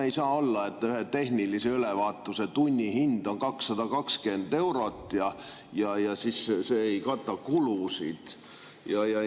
Ei saa olla, et ühe tehnilise ülevaatuse tunnihind on 220 eurot ja siis see ei kata kulusid.